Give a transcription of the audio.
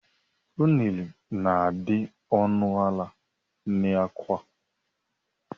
Unere na -adi ọnụ ala n' Awka